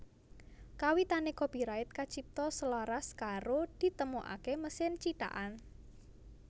Kawitané copyright kacipta selaras karo ditemokaké mesin cithakan